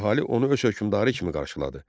Əhali onu öz hökmdarı kimi qarşıladı.